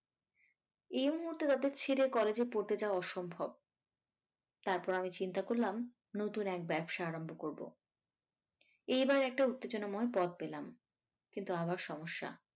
এই মুহুর্তে তাদের ছেড়ে college এ পড়তে যাওয়া অসম্ভব। তারপর আমি চিন্তা করলাম নতুন এক ব্যবসা আরম্ভ করবো এইবার একটা উত্তেজনাময় পথ পেলাম কিন্তু আবার সমস্যা।